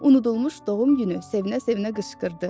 Unudulmuş doğum günü sevinə-sevinə qışqırdı.